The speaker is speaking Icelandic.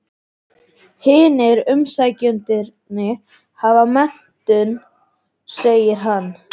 Hinir umsækjendurnir hafa menntun, segir hann.